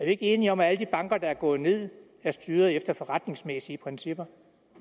ikke enige om at alle de banker der er gået ned er styret efter forretningsmæssige principper